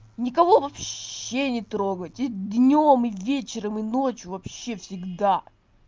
никого вообще не трогайте днём и вечером и ночью вообще всегда